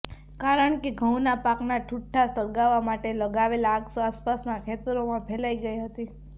કારણ કે ઘઉંના પાકના ઠૂંઠા સળગાવવા માટે લગાવેલ આગ આસપાસના ખેતરોમાં ફેલાય ગઈ હતી